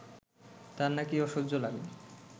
তাঁর নাকি অসহ্য লাগে